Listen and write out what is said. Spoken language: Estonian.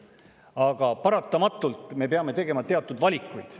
Aga paratamatult me peame tegema teatud valikuid.